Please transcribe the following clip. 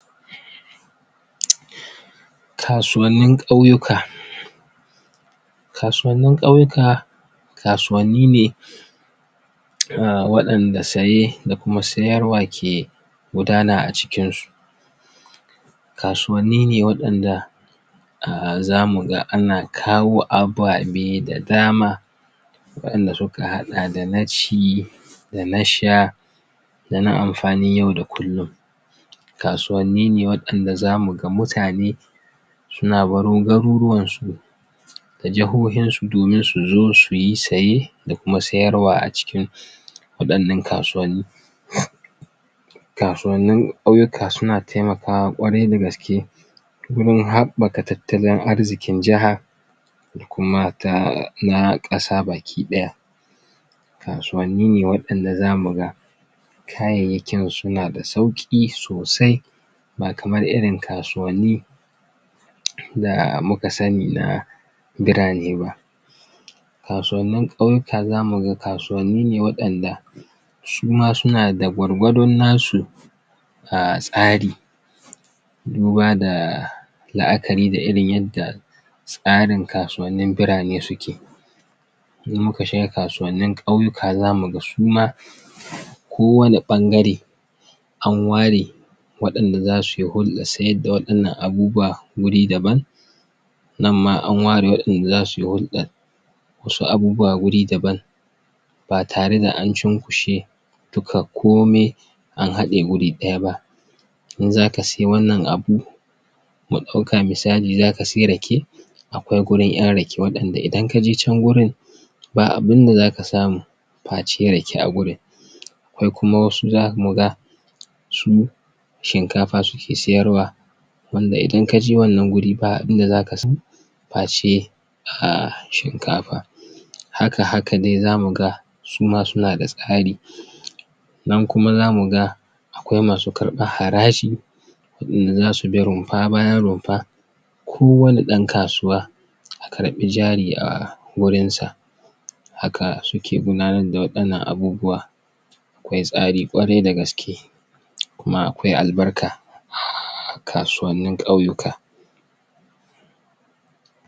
Kasuwannin ƙauyika kasuwannin ƙauyika kasuwanni ne ah, waɗanda saye da kuma siyarwa ke gudanan a cikin su kasuwanni waɗanda ah za muga ana kawo ababe da dama waɗanda suka haɗa dana ci dana sha dana amfani yau da kullin kasuwanni ne waɗanda zamu ga mutane suna baro garuruwan su da jahoyin su domin suzo suyi saye da kuma sayarwa a cikin waɗannan kasuwanni kasuwannin ƙauyika suna taimakawa kwarai da gaske wurin haɓaka tattalin arzikin jiha da kuma ta, na ƙasa baki ɗaya kasuwanni ne waɗanda zamu ga kayayyakin suna da sauƙi sosai ba kamar irin kasuwanni da muka sani na birane ba kasuwannin ƙauyika ka zamu ga kasuwanni ne waɗaanda suma suna da gwargwadon nasu tsari duba da la'akari da irin yadda tsarin kasuwannin burane yake idan muka shiga kasuwannin ƙauyika zamu ga suma ko wanne ɓangare an ware waɗanda zasuyi hurɗal siyar da waɗannan abubuwa wuri da ban nan ma an ware waɗanda zasuyi hurɗal wasu abubuwa wuri daban ba tare da an cinkushe duka komai an haɗe wuri ɗaya ba in zaka siye wannan abu mu ɗauka misali zaka siyi Rake akwai wurin yan Rake, waɗanda idan kaje can wuri ba abinda zaka samu face Rake a wurin akwai kuma wasu zamu ga su shinkafa suke siyarwa wanda idan kaje wannan wuri ba inda zaka samu face a[um] shinkafa haka haka dai zamuga suma suna da tsari nan kuma zamuga akwai masu karɓar haraji waɗanda zasu bi rumfa bayan rumfa ko wanne ɗan kasuwa a karɓi jari a[um] wurin sa haka suke gudanar da waɗannan abubuwa akwai tsari kwarai da gaske kuma akwa albarka kasuwannin ƙauyika